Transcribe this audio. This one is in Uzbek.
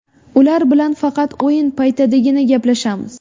Ular bilan faqat o‘yin paytidagina gaplashamiz.